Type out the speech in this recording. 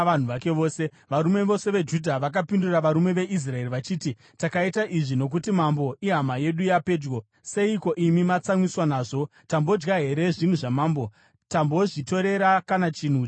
Varume vose veJudha vakapindura varume veIsraeri vachiti, “Takaita izvi nokuti mambo ihama yedu yapedyo. Seiko imi matsamwiswa nazvo? Tambodya here zvinhu zvamambo? Tambozvitorera kana chinhu chimwe chete here?”